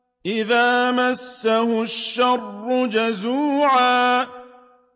إِذَا مَسَّهُ الشَّرُّ جَزُوعًا